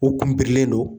U kun birilen don